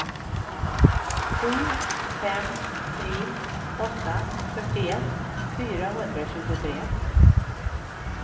sju fem tre åtta fyrtioett fyrahundratjugotre